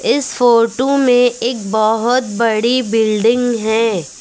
इस फोटो में एक बहोत बड़ी बिल्डिंग है।